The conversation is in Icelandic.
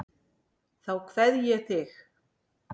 Þá kveð ég þig.